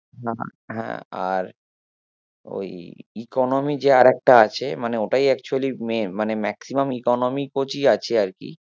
হ্যাঁ আর ওই economy যে আর একটা আছে মানে ওটাই actually মেয়ে মানে maximum economy coach ই আছে আর কি